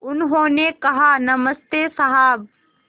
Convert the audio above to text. उन्होंने कहा नमस्ते साहब